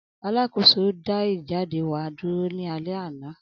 Alakoso da ijade wa duro ni alẹ ana.